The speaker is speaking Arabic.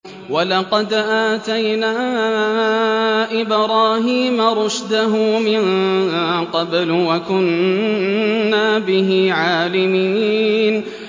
۞ وَلَقَدْ آتَيْنَا إِبْرَاهِيمَ رُشْدَهُ مِن قَبْلُ وَكُنَّا بِهِ عَالِمِينَ